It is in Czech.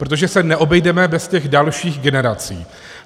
Protože se neobejdeme bez těch dalších generací.